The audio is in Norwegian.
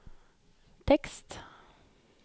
tekst